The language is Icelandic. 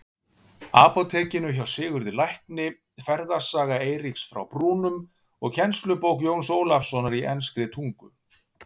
Apótekinu hjá Sigurði lækni, Ferðasaga Eiríks frá Brúnum og kennslubók Jóns Ólafssonar í enskri tungu.